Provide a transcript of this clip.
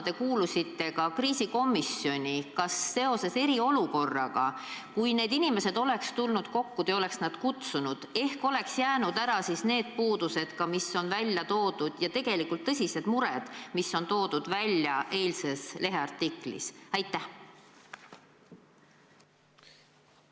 Te kuulusite ka kriisikomisjoni ja kui te oleks eriolukorra ajal need inimesed kokku kutsunud, ehk oleks siis ära jäänud need puudused ja tegelikult tõsised mured, mis eilses leheartiklis on välja toodud.